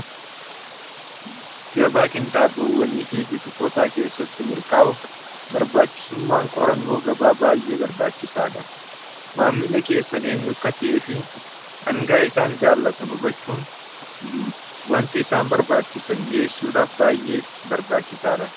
gabaa qinxaaboowwanii fi buutikootaa keessatti milkaa'uuf barbaachisummaan qorannoo gabaa baay'ee barbaachisaa dha maammili keessan eenyu akka ta'ee fi dhangaa isaan jaallatan hubachuun wanti isaan barbaachisan dhi'eessuudhaaf baay'ee barbaachisaa dha